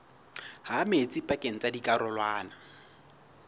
ha metsi pakeng tsa dikarolwana